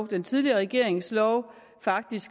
den tidligere regerings lov faktisk